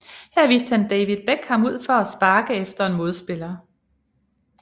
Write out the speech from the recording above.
Her viste han David Beckham ud for at sparke efter en modspiller